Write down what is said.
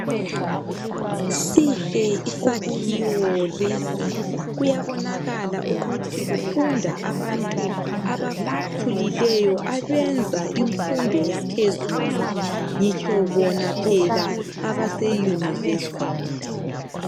Sihle isakhiwo lesi kuyabonakala ukuthi kufunda abantu abakhulileyo abenza imfundo yaphezulu ngitsho bona phela abase university.